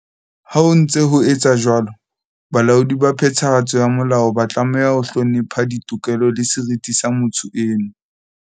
Ha ho ntse ho etswa jwalo, balaodi ba phethahatso ya molao ba tlameha ho hlonepha ditokelo le seriti sa motho eno.